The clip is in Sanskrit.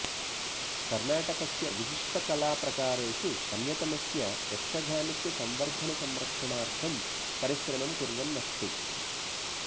कर्णाटकस्य विशिष्टकलाप्रकारेषु अन्यतमस्य यक्षगानस्य संवर्धनसंरक्षणार्थं परिश्रमं कुर्वन् अस्ति